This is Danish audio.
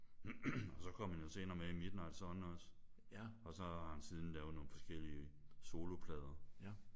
Og så kom han jo senere med i Midnight Sun også. Og så har han siden lavet nogle forskellige soloplader